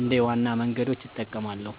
እንደ ዋና መንገዶች እጠቀማለሁ።